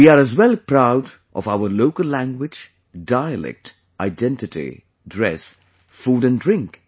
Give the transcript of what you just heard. We are as well proud of our local language, dialect, identity, dress, food and drink